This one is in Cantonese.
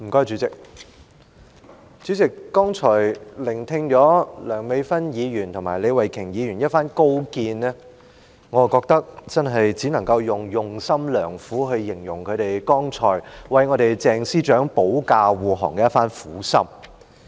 主席，剛才聽罷梁美芬議員及李慧琼議員的一番高見，我覺得只能夠用"用心良苦"一詞，來形容她們剛才為鄭司長保駕護航的一番苦心。